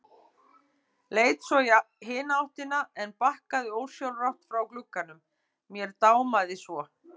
Leit svo í hina áttina en bakkaði ósjálfrátt frá glugganum, mér dámaði svo.